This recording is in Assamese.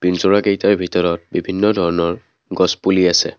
পিঞ্জৰা কেইটাৰ ভিতৰত বিভিন্ন ধৰণৰ গছপুলি আছে।